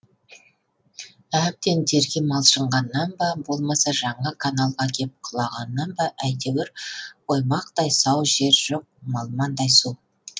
әбден терге малшынғаннан ба болмаса жаңа каналға кеп құлағаннан ба әйтеуір оймақтай сау жер жоқ малмандай су